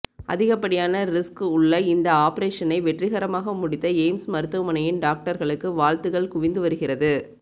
அதிகப்படியான ரிஸ்க் உள்ள இந்த ஆபரேஷனை வெற்றிகரமாக முடித்த எய்ம்ஸ் மருத்துவமனையின் டாக்டர்களுக்கு வாழ்த்துக்கள் குவிந்து வருகிறது